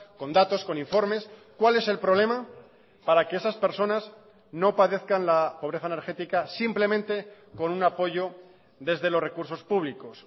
con datos con informes cuál es el problema para que esas personas no padezcan la pobreza energética simplemente con un apoyo desde los recursos públicos